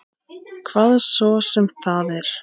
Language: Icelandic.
Hvað svo sem það er.